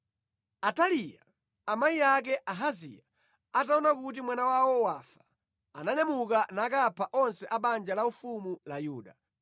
Ataliya, amayi ake a Ahaziya, ataona kuti mwana wawo wafa, ananyamuka nakapha onse a banja laufumu la Yuda.